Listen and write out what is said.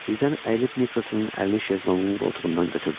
Birdən əyilib Niklsonun əlini şezlonqun qoltuğundan götürdü.